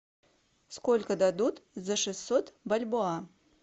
сколько дадут за шестьсот бальбоа